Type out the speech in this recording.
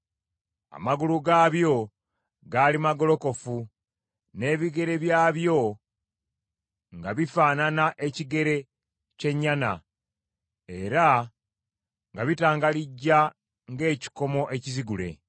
Amagulu gaabyo gaali magolokofu, n’ebigere byabyo nga bifaanana ekigere ky’ennyana, era nga bitangalijja ng’ekikomo ekizigule.